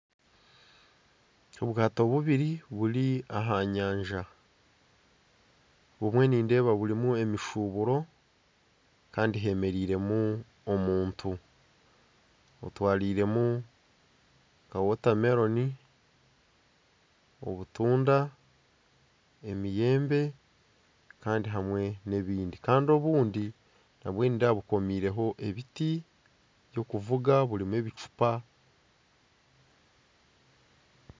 Obwaato bubiri buri aha nyanja. Obumwe nindeeba burimu emishuburo Kandi hemereiremu omuntu otwariremu wotameroni, obutunda, emiyembe, kandi hamwe n'ebindi. Kandi obundi nabwe nindeeba bukomireho ebiti by'okuvuga burimu ebicupa.